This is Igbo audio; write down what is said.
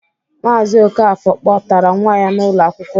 Maazi Okafor kpọtara nwa ya n'ụlọ akwụkwọ.